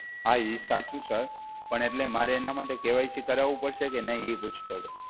હા એ સાચું સર. પણ એટલે મારે એના માટે કે વાય સી કરાવવું પડશે કે નહીં? એ પૂછતો હતો.